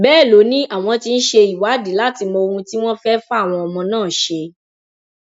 bẹẹ ló ní àwọn tí ń ṣe ìwádìí láti mọ ohun tí wọn fẹẹ fáwọn ọmọ náà ṣe